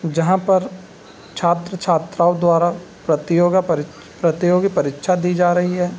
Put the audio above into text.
जहाँ पर छात्र-छात्राओं द्वारा प्रतियोगा परीक्षा प्रतियोगी परीक्षा दी जा रही है।